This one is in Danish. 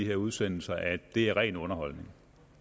her udsendelser at det er ren underholdning